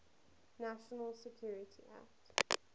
national security act